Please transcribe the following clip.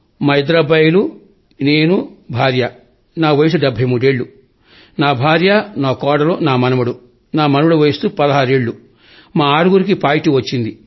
మా ఇద్దరు అబ్బాయిలు నేను భార్య నా వయస్సు డెబ్భైమూడేళ్లు నా భార్య నా కోడలు నా మనవడు నామనవడి వయస్సు పదహారేళ్లు మా ఆరుగురికి పాజిటివ్ వచ్చింది